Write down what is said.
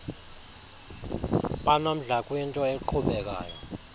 banomdla kwinto eqhubekayo